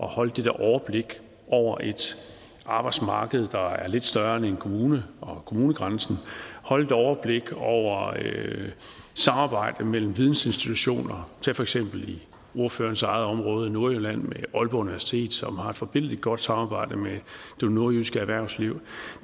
holde det der overblik over et arbejdsmarked der er lidt større end en kommune og kommunegrænsen holde et overblik over samarbejdet mellem vidensinstitutioner tag for eksempel ordførerens eget område nordjylland med aalborg universitet som har et forbilledlig godt samarbejde med det nordjyske erhvervsliv